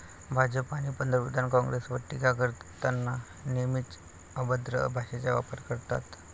भाजप आणि पंतप्रधान काँग्रेसवर टीका करताना नेहमीच अभद्र भाषेचा वापर करतात.